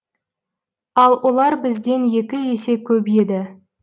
ал олар бізден екі есе көп еді